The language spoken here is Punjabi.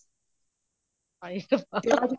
ਹਾਏ ਰੱਬਾ